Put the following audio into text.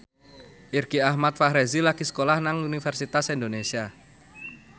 Irgi Ahmad Fahrezi lagi sekolah nang Universitas Indonesia